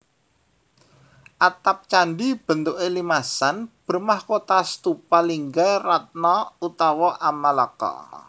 Atap candi bentuké limasan bermahkota stupa lingga ratna utawa amalaka